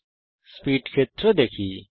এখন স্পীড ক্ষেত্রে দেখি